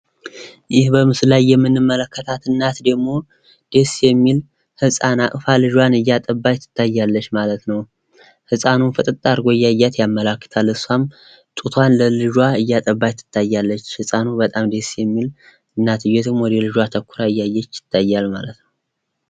ይህ በምስሉ ላይ የምንመለከታት እናት ደግሞ አንድ ቆንጆ ልጇን እያጠባች እናያለን። ህፃኑ። ፍጥጥ አርጎ እያያት ነው ።እሷም ጡቷን ለልጇ እያጠባች እናያለን። ልጇም በጣም ደስ የሚል እናትየዋ ወደ ልጇ አተኩራ እያየች እንደሆነ ያሳያል።